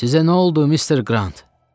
Sizə nə oldu, Mister Qrant?